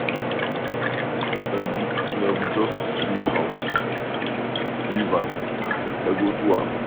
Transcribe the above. No be just to sweep house, leave am, I go do am.